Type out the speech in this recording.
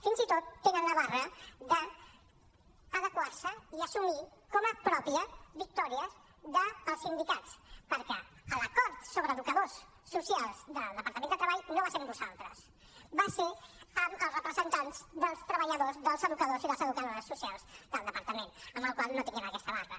fins i tot tenen la barra d’adequar se i assumir com a pròpies victòries dels sindicats perquè l’acord sobre educadors socials del departament de treball no va ser amb vosaltres va ser amb els representants dels treballadors dels educadors i les educadores socials del departament amb la qual cosa no tinguin aquesta barra